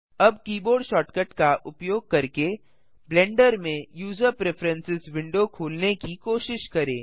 अब keyboard shortcut का उपयोग करके ब्लेंडर में यूज़र प्रिफ्रेरेंसेस विंडो खोलने की कोशिश करें